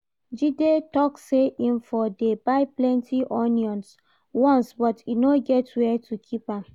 Jide talk say im for dey buy plenty onions once but e no get where to keep am